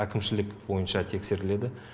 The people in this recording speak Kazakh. әкімшілік бойынша тексеріледі